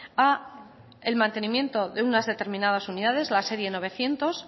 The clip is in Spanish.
al mantenimiento de unas determinadas unidades la serie novecientos